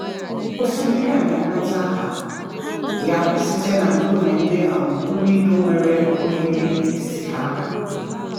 Osimiri a na-enweta aha ya site na nkume ndị um buru ibu nwere oghere n’etiti ha. um